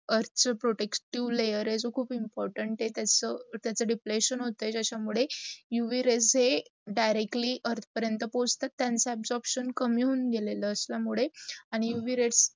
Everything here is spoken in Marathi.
earth protective layer आहे जो खूप important आहे त्याच त्याच deplation होतंय ज्याचा मुडे, UV rays हे directly earth पराण्यात पोचतात त्याच absorbtion कमी होउन गेलेलं मुडे आणी UV rays